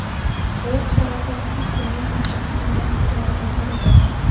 U Faraday Future’ning asosiy investorlaridan biridir.